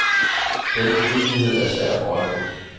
Den urimelighed er svær at få øje på.